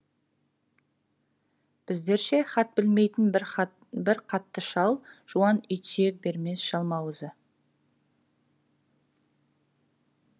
біздерше хат білмейтін бір қатты шал жуан ит сүйек бермес жалмауызы